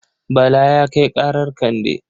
Bala ya kai ƙarar Kande.